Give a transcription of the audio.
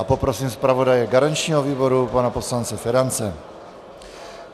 A poprosím zpravodaje garančního výboru, pana poslance Ferance.